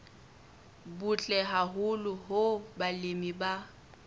butle haholo hoo balemi ba